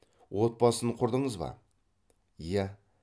отбасын құрдыңыз ба иә